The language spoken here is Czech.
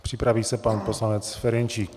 Připraví se pan poslanec Ferjenčík.